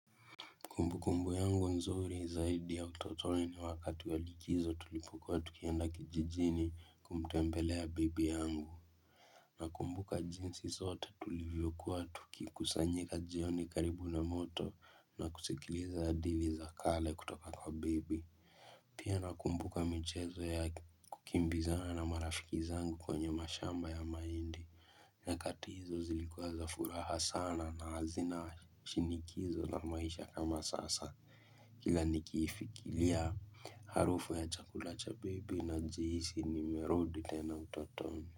Kumbu kumbu yangu nzuri zaidi ya utotoni ni wakati walikizo tulipokua tukienda kijijini kumtempele ya bibi yangu na kumbuka jinsi sote tulivyokuwa tuki kusanyika jioni karibu na moto na kusikiliza hadithi za kale kutoka kwa bibi Pia na kumbuka michezo ya kukimbiza na marafikizana angu kwenye mashamba ya maindi Nakati hizo zilikuwa za furaha sana na hazina shinikizo la maisha kama sasa kila nikifikilia harufu ya chakula cha baby na jisi ni merodi tena utotoni.